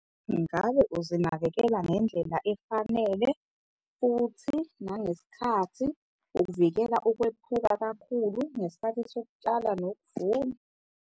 Ngabe uzinakekela ngendlela efanele futhi nangesikhathi ukuvikela ukwephuka kakhulu ngesikhathi sokutshala nokuvuna?